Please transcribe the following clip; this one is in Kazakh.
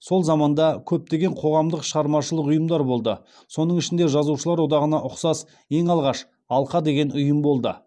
сол заманда көптеген қоғамдық шығармашылық ұйымдар болды соның ішінде жазушылар одағына ұқсас ең алғаш алқа деген ұйым болды